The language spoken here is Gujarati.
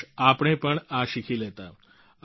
કાશઆપણે પણ આ શીખી લેતા